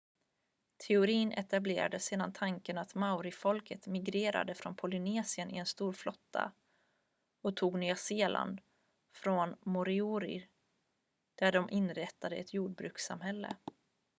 teorin etablerade sedan tanken att maorifolket migrerade från polynesien i en stor flotta och tog nya zeeland från moriori där de inrättade ett jordbrukssamhälle